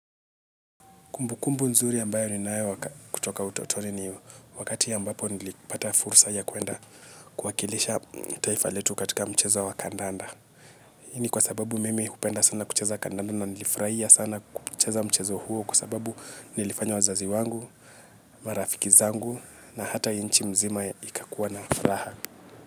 Kumbukumbu nzuri ambayo ninayo kutoka utotoni ni wakati ambapo nilipata fursa ya kuenda kuwakilisha taifa letu katika mchezo wa kandanda. Hii ni kwa sababu mimi hupenda kupenda sana kucheza kandanda na nilifurahia sana kucheza mchezo huo kwa sababu nilifanya wazazi wangu, marafiki zangu na hata nchi mzima ya ikakuwa na furaha.